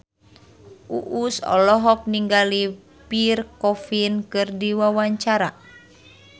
Uus olohok ningali Pierre Coffin keur diwawancara